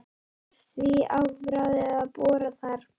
Var því afráðið að bora þar.